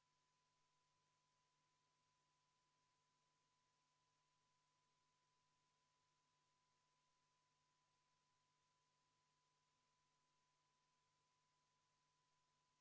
Panen teie ette hääletusele neljanda muudatusettepaneku, mis on esitatud keskkonnakomisjoni poolt.